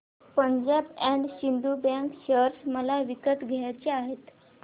Punjab and Sind bank share मला विकत घ्यायचे आहेत